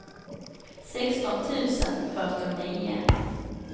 sexton tusen fyrtionio